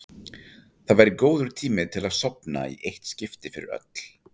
Þetta væri góður tími til að sofna í eitt skipti fyrir öll.